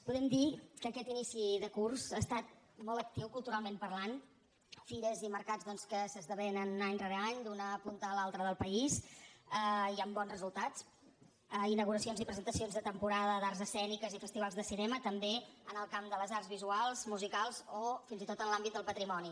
podem dir que aquest inici de curs ha estat molt actiu culturalment parlant fires i mercats doncs que s’esdevenen any rere any d’una punta a l’altra del país i amb bons resultats inauguracions i presentacions de temporada d’arts escèniques i festivals de cinema també en el camp de les arts visuals musicals o fins i tot en l’àmbit del patrimoni